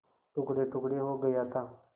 टुकड़ेटुकड़े हो गया था